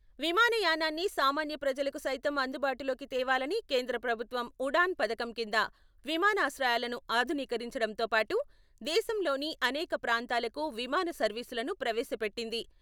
విమానయానాన్ని సామాన్య ప్రజలకు సైతం అందుబాటులోకి తేవాలని కేంద్ర ప్రభుత్వం ఉడాన్ పథకం కింద విమానాశ్రయాలను ఆధునీకరించడంతో పాటు, దేశంలోని అనేక ప్రాంతాలకు విమాన సర్వీసులను ప్రవేశపెట్టింది.